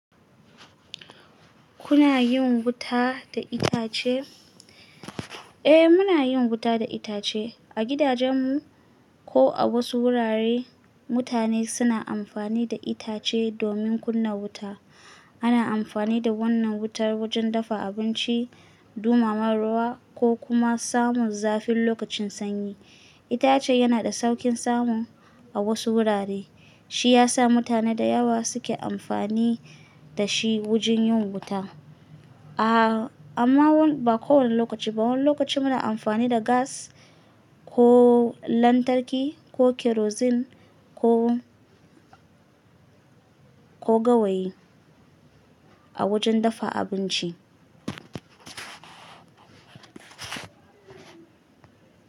Kuna yin wuta da itace? Eh, muna yin wuta da itace. A gidajen mu, ko a wasu wurare, mutane suna amfani da itace domin kunna wuta. Ana amfani da wannan wutar wajen dafa abinci, dumama ruwa ko kuma samun zafi lokacin sanyi. Itacen yana da sauƙin samu a wasu wurare, shi ya sa mutane da yawa suke amfani da shi wajen yin wuta. Aaa amma ba kowane lokaci ba, wani lokaci muna amfani da gas ko lantarki ko kerozin ko, ko gawayi a wajen dafa abinci.